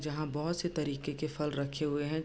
जहाँ बहोत से तरीके के फल रखे हुए हैं।